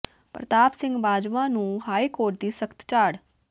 ਪ੍ਰਤਾਪ ਸਿੰਘ ਬਾਜਵਾ ਨੂੰ high court ਦੀ ਸਖ਼ਤ ਝਾੜ